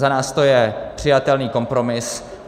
Za nás to je přijatelný kompromis.